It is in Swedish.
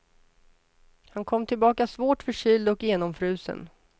Han kom tillbaka svårt förkyld och genomfrusen.